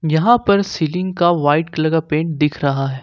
यहां पर सीलिंग का वाइट कलर का पेंट दिख रहा है।